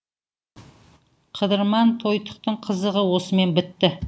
қыдырман тойтықтың қызығы осымен бітті